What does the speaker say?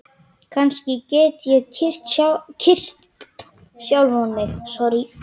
Kannski get ég kyrkt sjálfan mig?